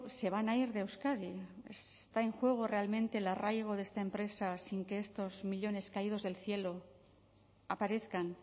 se van a ir de euskadi está en juego realmente el arraigo de esta empresa sin que estos millónes caídos del cielo aparezcan